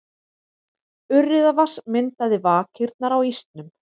Urriðavatns myndaði vakirnar á ísnum.